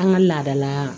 An ka laadala